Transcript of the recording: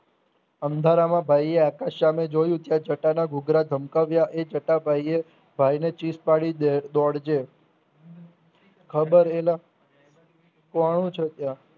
અંધારામાં ભાઈએ આકાશ સામે જોયું ત્યાં ચકાના ધુધરા ધમકાવ્યા એ ચક ભાઈએ ભાઈને ચીસ પડી દોડજે ખબર એલ કોણ છે ત્યાં